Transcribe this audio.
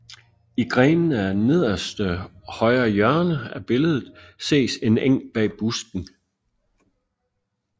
I grenene i nederste højre hjørne af billedet ses en eng bag busken